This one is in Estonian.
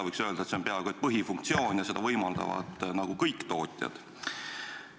Võiks öelda, et see on peaaegu põhifunktsioon ja seda võimaldavad kõik tootjad.